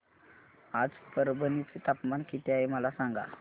आज परभणी चे तापमान किती आहे मला सांगा